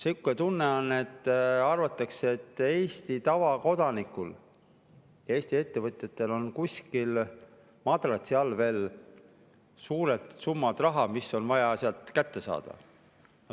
Sihuke tunne on, nagu arvataks, et Eesti tavakodanikul ja Eesti ettevõtjatel on kuskil madratsi all veel suured summad, mis on vaja sealt kätte saada.